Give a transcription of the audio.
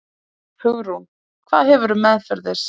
Hugrún: Hvað hefurðu meðferðis?